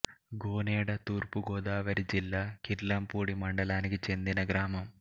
గోనేడ తూర్పు గోదావరి జిల్లా కిర్లంపూడి మండలానికి చెందిన గ్రామం